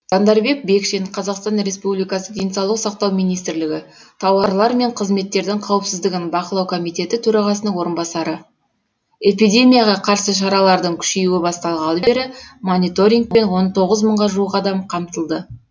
жандарбек бекшин қазақстан республикасы денсаулық сақтау министрлігі тауарлар мен қызметтердің қауіпсіздігін бақылау комитеті төрағасының орынбасары эпидемияға қарсы шаралардың күшеюі басталғалы бері мониторингпен он тоғыз мыңға жуық адам қамтылды